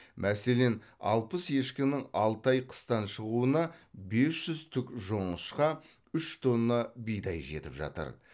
мәселен алпыс ешкінің алты ай қыстан шығуына бес жүз түк жоңышқа үш тонна бидай жетіп жатыр